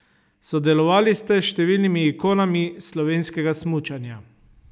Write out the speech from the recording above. Sodelovali ste s številnimi ikonami slovenskega smučanja.